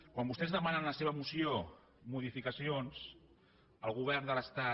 quan vostès demanen a la seva moció modificacions el govern de l’estat